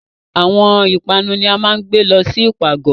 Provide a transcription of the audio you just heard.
Awọn ipanu ni a maa ǹ gbe lọ si ipagọ